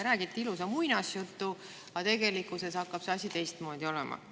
Räägite ilusa muinasjutu, aga tegelikkuses hakkab asi teistmoodi olema.